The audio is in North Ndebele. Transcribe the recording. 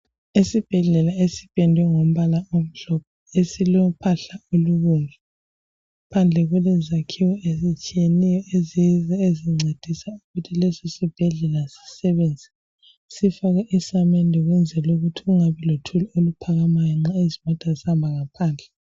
Esibhedlela esipendwe ngombala omhlophe esilophahla olubomvu. Phandle kulezakhiwo ezitshiyeneyo ezincedisa ukuthi lesi sibhedlela sisebenze. Sifakwe isamende ukwenzela ukuthi kungabi lothuli oluphakamayo nxa izimota zihamba ngaphandle.